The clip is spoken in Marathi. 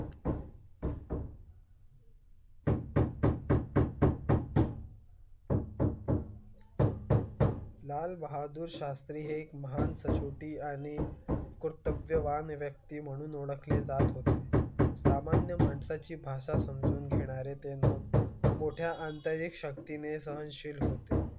लाल बहादुर शास्त्री हे एक महान सचोटी आणि कुरत अवयव आहे. व्यक्ती म्हणून ओळखले जात होते. सामान्य माणसा ची भाषा समजून घेणारे ते नाम मोठ्या अंतर एक शक्ती ने सहनशील होते.